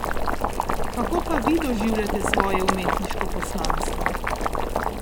Kako pa vi doživljate svoje umetniško poslanstvo?